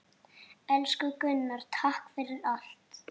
Elsku Gunnar, takk fyrir allt.